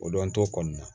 O don an t'o kɔni na